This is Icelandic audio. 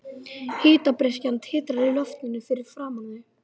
Hitabreyskjan titrar í loftinu fyrir framan þau.